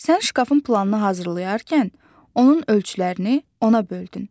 Sən şkafın planını hazırlayarkən onun ölçülərini ona böldün.